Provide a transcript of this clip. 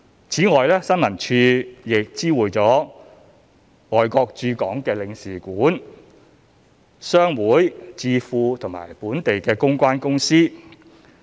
此外，新聞處亦知會了外國駐港領事館、商會、智庫及本地公關公司。